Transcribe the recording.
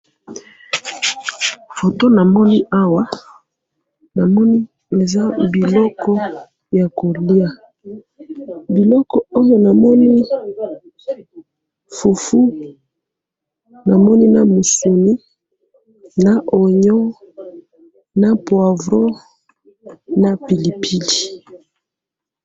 Photo namoni awa ,namoni eza biloko ya kolia ,biloko oyo namoni ,fufu namoni na musuni ,na oignon na poivron, na pilipili